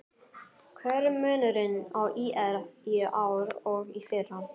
Hver er munurinn á ÍR í ár og í fyrra?